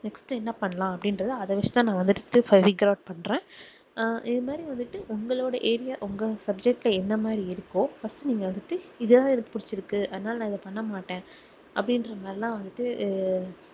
next என்ன பண்ணலாம் அப்படின்றதை அதை வச்சு தான் நான் வந்துட்டு பண்றேன் அஹ் இது மாதிரி வந்துட்டு உங்களோட area உங்க subject ல என்ன மாதிரி இருக்கோ first நீங்க வந்துட்டு இதுதான் எனக்கு புடிச்சுருக்கு அதனால நான் இதை பண்ண மாட்டேன் அப்படின்றதெல்லாம் வந்துட்டு அஹ்